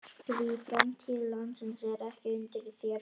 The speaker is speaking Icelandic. Því framtíð landsins er ekki undir þér komin.